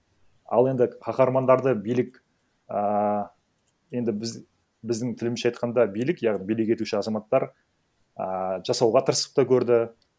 ал енді каһармандарды билік ааа енді біздің тілімізше айтқанда билік яғни билік етуші азаматтар ааа жасауға тырысып та көрді